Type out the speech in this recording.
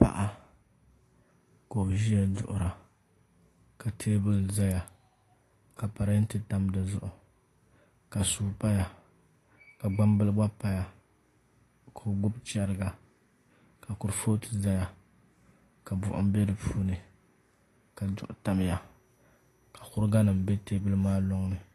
Paɣa ka o ʒiya duɣura ka teebuli ʒɛya ka parantɛ tam dizuɣu ka suu paya ka gbambili gba paya ka o gbubi chɛriga ka kurifooti ʒɛya ka buɣum bɛ di puuni ka duɣu tam puuni ka kuriga nim bɛ teebuli maa loŋni